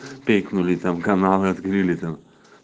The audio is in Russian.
пикнули там каналы открыли там